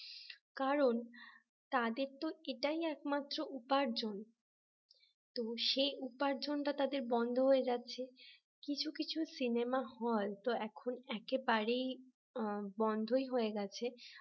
কারণ তাদের তো এটাই একমাত্র উপার্জন। কিন্তু সেই উপার্জনটা তাদের বন্ধ হয়ে যাচ্ছে কিছু কিছু সিনেমা হয় তো এখন একেবারেই বন্ধই হয়ে গেছে